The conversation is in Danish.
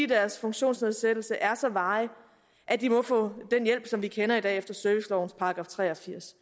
deres funktionsnedsættelse er så varig at de må få den hjælp som vi kender i dag efter servicelovens § tre og firs